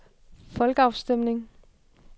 folkeafstemning